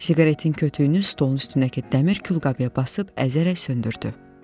Siqaretin kütüyünü stolun üstünəki dəmir külqabıya basıb əzərək söndürdü.